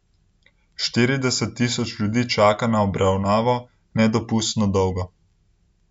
Štirideset tisoč ljudi čaka na obravnavo nedopustno dolgo.